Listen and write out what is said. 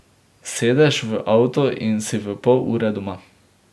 Sedeš v avto in si v pol ure doma.